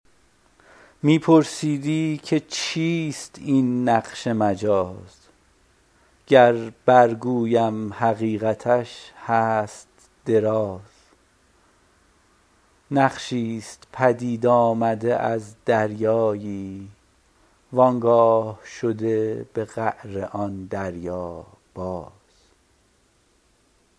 می پرسیدی که چیست این نقش مجاز گر برگویم حقیقتش هست دراز نقشی ست پدید آمده از دریایی و آنگاه شده به قعر آن دریا باز